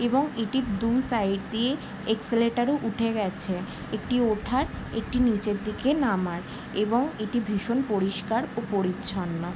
এবং এটি দু সাইড দিয়ে এক্সেলেটর ও উঠে গেছে একটি ওঠার একটি নিচের দিকে নামার এবং এটি ভীষণ পরিষ্কার ও পরিচ্ছন্ন ।